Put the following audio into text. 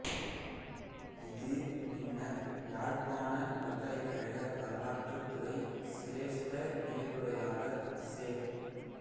இது பின்னர் யாழ்ப்பாணப் பல்கலைக்கழக வரலாற்றுத்துறைச் சிரேஷ்ட விரிவுரையாளர் செ